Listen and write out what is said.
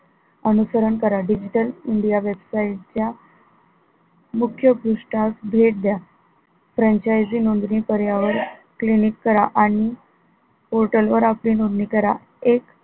अनुसरण करा digital india website च्या मुख्य पृष्ठास भेद द्या franchise नोंदणी करण्यावर click करा आणि portal वर आपले नोंदणी करा एक